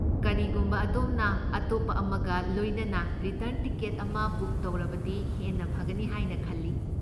ꯀꯔꯤꯒꯨꯝꯕ ꯑꯗꯣꯝꯅ ꯑꯇꯣꯞꯄ ꯑꯃꯒ ꯂꯣꯏꯅꯅ ꯔꯤꯇꯔꯟ ꯇꯤꯀꯦꯠ ꯑꯃ ꯕꯨꯛ ꯇꯧꯔꯕꯗꯤ ꯍꯦꯟꯅ ꯐꯒꯅꯤ ꯍꯥꯏꯅ ꯈꯜꯂꯤ꯫